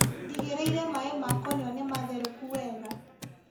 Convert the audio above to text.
Ndigĩrĩire maĩ ma kũnyua nĩmatherũku wega.